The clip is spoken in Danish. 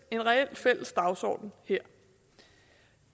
en reel fælles dagsorden her